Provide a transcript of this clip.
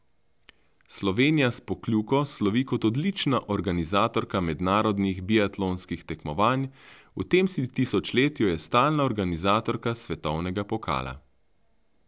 Slovenija s Pokljuko slovi kot odlična organizatorka mednarodnih biatlonskih tekmovanj, v tem tisočletju je stalna organizatorka svetovnega pokala.